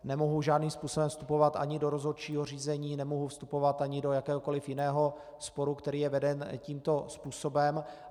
Nemohu žádným způsobem vstupovat ani do rozhodčího řízení, nemohu vstupovat ani do jakéhokoliv jiného sporu, který je veden tímto způsobem.